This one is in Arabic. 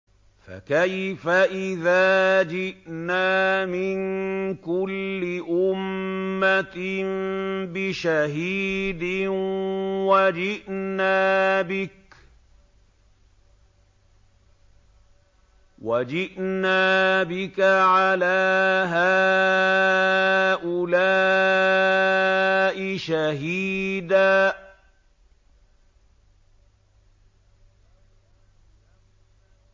فَكَيْفَ إِذَا جِئْنَا مِن كُلِّ أُمَّةٍ بِشَهِيدٍ وَجِئْنَا بِكَ عَلَىٰ هَٰؤُلَاءِ شَهِيدًا